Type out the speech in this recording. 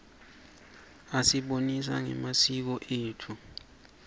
asibonisa nangemasiko etfu